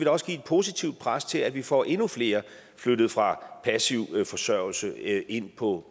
også give et positivt pres til at vi får endnu flere flyttet fra passiv forsørgelse ind på